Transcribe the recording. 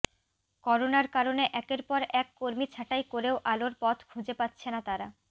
করোনার কারণে একের পর এক কর্মী ছাঁটাই করেও আলোর পথ খুঁজে পাচ্ছে না তারা